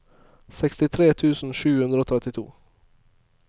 sekstitre tusen sju hundre og trettito